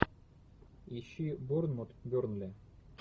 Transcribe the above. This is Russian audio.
ищи борнмут бернли